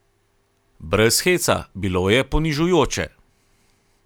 Brez heca, bilo je ponižujoče.